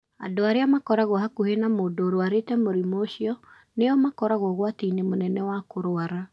Andũ arĩa makoragwo hakuhĩ na mũndũ ũrũarĩte mũrimũ ũcio nĩo makoragwo ũgwati-inĩ mũnene wa kũrũara.